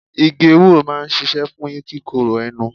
Igi ewúro máa ń ṣíṣe fún kíkorò ẹnu.